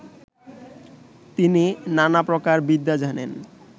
তিনি নানা প্রকার বিদ্যা জানেন